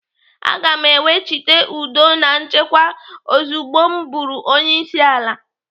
Aga m ewechite udo na nchekwa ozugbo m bụrụ onyeisiala.